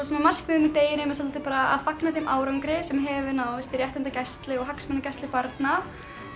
markmiðið með deginum er svolítið bara að fagna þeim árangri sem hefur náðst í réttindagæslu og hagsmunagæslu barna